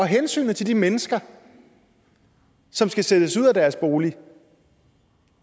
hensynet til de mennesker som skal sættes ud af deres bolig